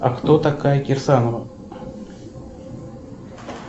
а кто такая кирсанова